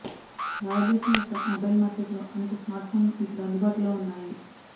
భారతదేశం యొక్క మొబైల్ మార్కెట్లో అనేక స్మార్ట్ఫోన్లు ఇప్పుడు అందుబాటులో వున్నాయి